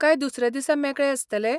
काय दुसऱ्या दिसा मेकळें आसतलें?